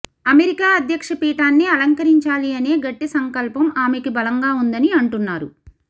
America అధ్యక్ష ఫీటాన్ని అలంకరించాలి అనే గట్టి సంకల్పం ఆమెకి బలంగా ఉందని అంటున్నారు